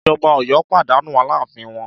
Ìjọba Ọ̀yọ́ pàdánù alááfín wọn